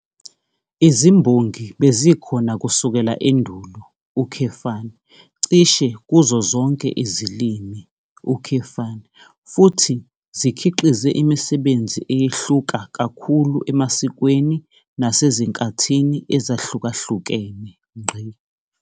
Izimbongi bezikhona kusukela endulo, cishe kuzo zonke izilimi, futhi zikhiqize imisebenzi eyehluka kakhulu emasikweni nasezinkathini ezahlukahlukene.